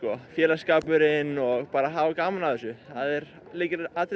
félagsskapurinn og bara að hafa gaman af þessu það er lykilatriði